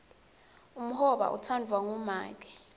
umhoba utsandvwa ngumake